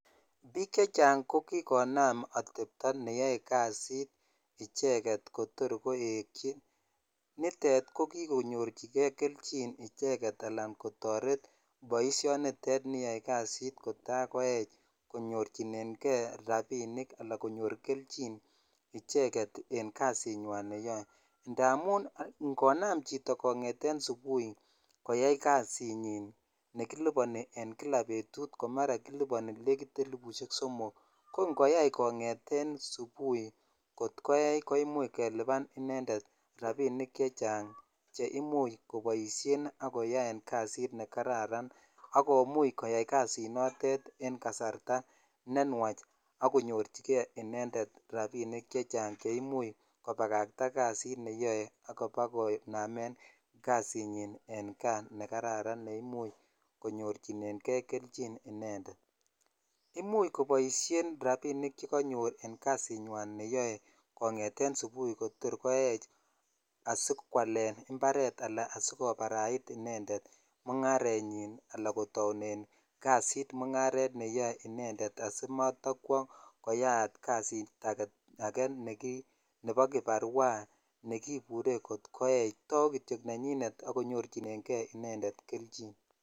Biik chechang kokinam atebto neyoe kasit icheket kotor koekyi, nitet ko kikonyorchike kelchin icheket alaan kotoret boishonitet niyoe kasit kotakoech konyorchineng'e rabinik anan konyor kelchin icheket en kasinywan neyoe ndamun ng'onam chito kong'eten subui koyai kasinyin nekiliponi en kila betut nemara kiliponi nekit elibushek somok ko ng'oyai kongeten subui kot koech koimuch keliban inendet rabinik chechang cheimuch koboishen ak koyaen kasi nekararan ak komuch koyai kasinotet enkasarta nenwach ak konyorchike inendet rabinik chechang cheimuch kobakakta kasit neyoe ak ibakonem kasinyin en kaa nekararan neimuch konyorchinenge keichin inendet, imuch koboishen rabinik chekonyor en kasinywan neyoe kong'eten subui kotor koech asikwalen imbaret alaan asikobarait inendet mungarenyin anan kotounen kasit mung'aret neyoe inendet asimotokwo koyaat kasit akee nebo kiparua nekibure kot koech, tauu kityo nenyinet ak konyorchineng'e inendet kelchin.